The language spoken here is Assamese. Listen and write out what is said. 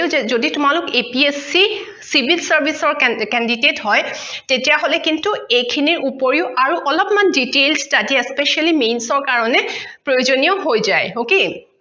যদি তোমালোক apsc civil service ৰ candidate হয় তেতিয়া হলে কিন্ত এইখিনিৰ উপৰিও আৰু অলপমান details study specially mains ৰ কাৰণে প্ৰয়োজনীয় হৈ যায়